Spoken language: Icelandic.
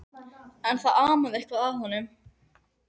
En það amaði eitthvað að honum.